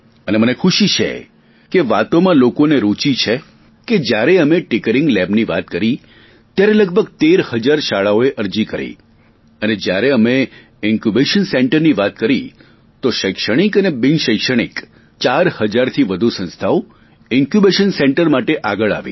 અને મને ખુશી છે કે વાતોમાં લોકોને રૂચિ છે કે જ્યારે અમે ટિંકરિગ લેબની વાત કહી ત્યારે લગભગ તેર હજાર શાળાઓએ અરજી કરી અને જ્યારે અમે ઇન્કયૂબેશન સેન્ટરની વાત કરી તો શૈક્ષણિક અને બિન શૈક્ષણિક ચાર હજારથી વધુ સંસ્થાઓ ઇન્કયૂબેશન સેન્ટર માટે આગળ આવી